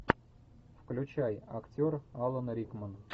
включай актер алан рикман